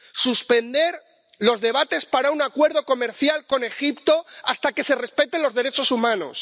suspender los debates para un acuerdo comercial con Egipto, hasta que se respeten los derechos humanos